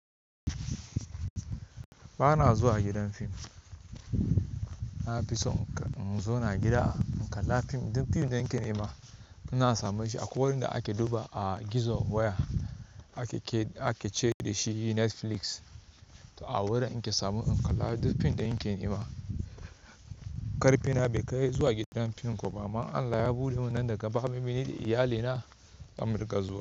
Ba na zuwa gidan fim. Na fi son in zauna a gida in kalla fim duk fim da nike nema. Ina samun shi akwai wanda ake samun shi a gizo waya ake ce da shi Netflix. To a wurin in ke samun in kalla duk fim ɗin da nike nema. Karfina bai kai zuwa gidan fim ko ba amma Allah ya buɗe min nan daga baya. Ni da iyalina za mu riƙa zuwa.